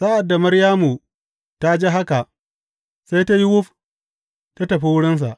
Sa’ad da Maryamu ta ji haka sai ta yi wuf ta tafi wurinsa.